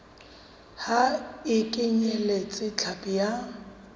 ha e kenyeletse hlapi ya